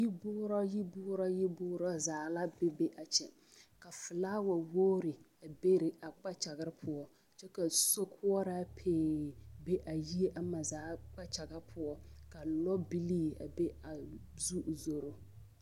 Yiboora yiboora yiboora zaa la be be a kyɛ ka filawawogri be a kpakyare poɔ kyɛ ka sokoɔraa pee be a yie ama zaa kpakyaga poɔ ka lɔbilii be a zu zoro.